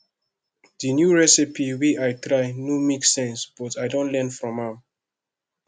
di new recipe wey i try no make sense but i don learn from am